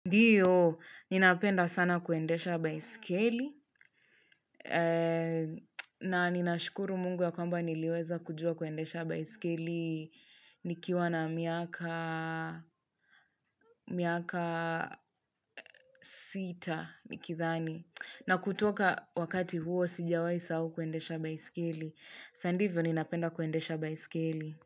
Ndio, ninapenda sana kuendesha baiskeli, na ninashukuru mungu ya kwamba niliweza kujua kuendesha baiskeli nikiwa na miaka miaka sita nikidhani. Na kutoka wakati huo sijawaisahau kuendesha baiskeli, na ndivyo ninapenda kuendesha baiskeli.